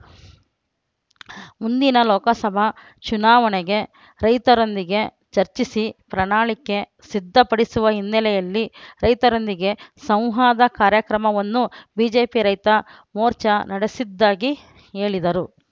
ಮುಂದಿನ ಲೋಕಸಭಾ ಚುನಾವಣೆಗೆ ರೈತರೊಂದಿಗೆ ಚರ್ಚಿಸಿ ಪ್ರಣಾಳಿಕೆ ಸಿದ್ದಪಡಿಸುವ ಹಿನ್ನೆಲೆಯಲ್ಲಿ ರೈತರೊಂದಿಗೆ ಸಂವಾದ ಕಾರ್ಯಕ್ರಮವನ್ನು ಬಿಜೆಪಿ ರೈತ ಮೋರ್ಚಾ ನಡೆಸಿದ್ದಾಗಿ ಹೇಳಿದರು